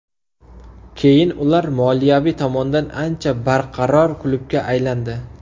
Keyin ular moliyaviy tomondan ancha barqaror klubga aylandi.